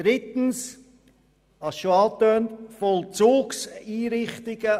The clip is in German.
Drittens zu den Vollzugseinrichtungen.